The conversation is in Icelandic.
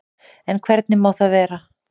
En hvernig má það vera?